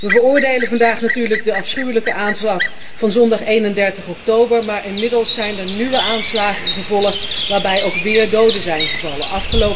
We veroordelen vandaag natuurlijk de afschuwelijke aanslag van zondag 31 oktober, maar inmiddels zijn er nieuwe aanslagen gevolgd, waarbij ook weer doden zijn gevallen